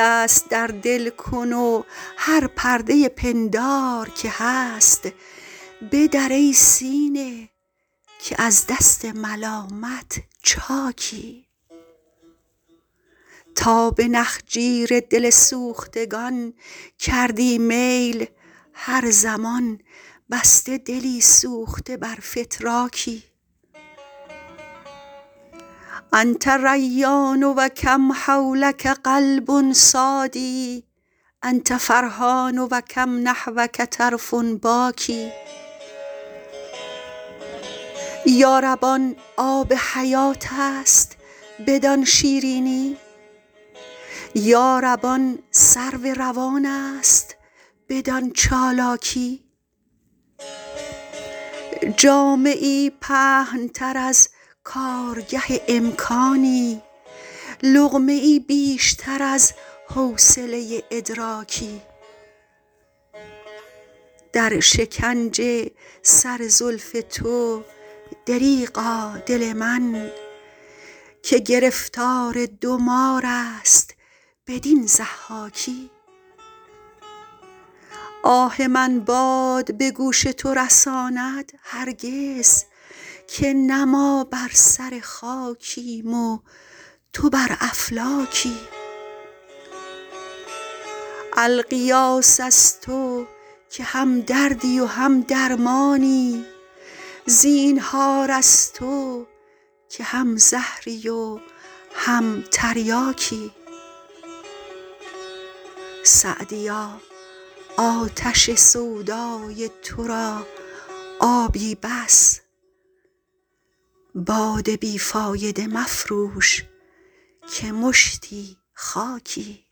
دست در دل کن و هر پرده پندار که هست بدر ای سینه که از دست ملامت چاکی تا به نخجیر دل سوختگان کردی میل هر زمان بسته دلی سوخته بر فتراکی أنت ریان و کم حولک قلب صاد أنت فرحان و کم نحوک طرف باکی یا رب آن آب حیات است بدان شیرینی یا رب آن سرو روان است بدان چالاکی جامه ای پهن تر از کارگه امکانی لقمه ای بیشتر از حوصله ادراکی در شکنج سر زلف تو دریغا دل من که گرفتار دو مار است بدین ضحاکی آه من باد به گوش تو رساند هرگز که نه ما بر سر خاکیم و تو بر افلاکی الغیاث از تو که هم دردی و هم درمانی زینهار از تو که هم زهری و هم تریاکی سعدیا آتش سودای تو را آبی بس باد بی فایده مفروش که مشتی خاکی